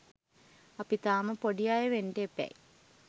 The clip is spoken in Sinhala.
අපි තාම පොඩි අය වෙන්ට එපැයි